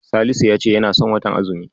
Salisu ya ce yana son watan azumi